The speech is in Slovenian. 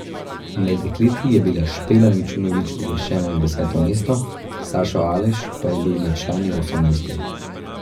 Med dekleti je bila Špela Mičunovič uvrščena na deseto mesto, Sašo Aleš pa je bil med člani osemnajsti.